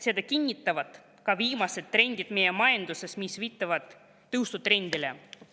Seda kinnitavad ka viimased trendid meie majanduses, mis viitavad tõusule.